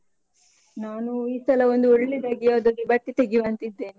ನಾನು ಈ ಸಲ ಒಂದು ಒಳ್ಳೆದಾಗಿ ಯಾವ್ದಾದ್ರು ಬಟ್ಟೆ ತೆಗೆಯುವ ಅಂತ ಇದ್ದೇನೆ.